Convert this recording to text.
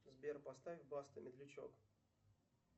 сбер поставь баста медлячок